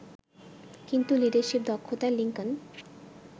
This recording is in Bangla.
কিন্তু লিডারশিপ দক্ষতায় লিংকন